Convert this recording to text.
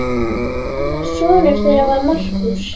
Annar sonur þeirra var Markús.